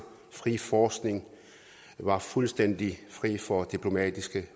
frie forskning var fuldstændig fri for diplomatiske